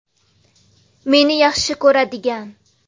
Meni yaxshi ko‘radigan.